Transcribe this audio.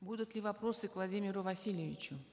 будут ли вопросы к владимиру васильевичу